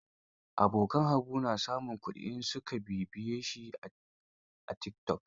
Abokan Habu na samun kuɗi in su ka sa bibiyo a tikitok.